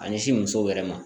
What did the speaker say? A ɲɛsin musow yɛrɛ ma